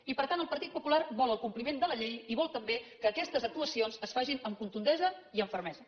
i per tant el partit popular vol el compliment de la llei i vol també que aquestes actuacions es facin amb contundència i amb fermesa